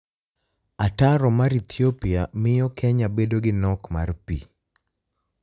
Ataro mar Ethiopia miyo Keniya bedo gi nok mar pi